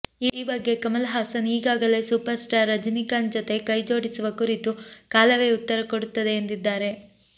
ಈ ಬಗ್ಗೆ ಕಮಲ್ ಹಾಸನ್ ಈಗಾಗಲೇ ಸೂಪರ್ಸ್ಟಾರ್ ರಜನಿಕಾಂತ್ ಜತೆ ಕೈಜೋಡಿಸುವ ಕುರಿತು ಕಾಲವೇ ಉತ್ತರ ಕೊಡುತ್ತದೆ ಎಂದಿದ್ದಾರೆ